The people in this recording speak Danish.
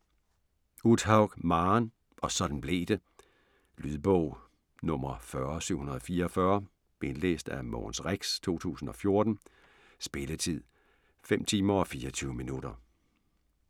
Uthaug, Maren: Og sådan blev det Lydbog 40744 Indlæst af Mogens Rex, 2014 Spilletid: 05 timer og 24 minutter.